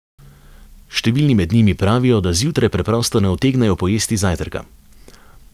Številni med njimi pravijo, da zjutraj preprosto ne utegnejo pojesti zajtrka.